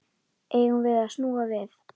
Eigum við snúa við?